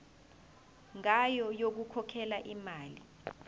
ngayo yokukhokhela imali